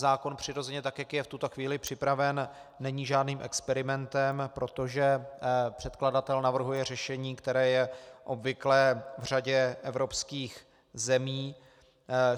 Zákon přirozeně, tak jak je v tuto chvíli připraven, není žádným experimentem, protože předkladatel navrhuje řešení, které je obvyklé v řadě evropských zemí.